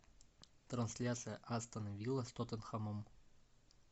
трансляция астон вилла с тоттенхэмом